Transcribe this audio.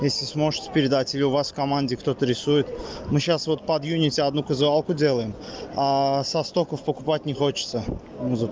если сможешь передать или у вас в команде кто-то рисует мы сейчас вот под юнити одну визуалку делаем со стоков покупать не хочется